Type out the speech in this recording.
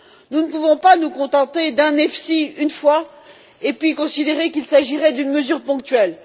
Nous ne pouvons pas nous contenter d'un EFSI et considérer qu'il s'agirait d'une mesure ponctuelle.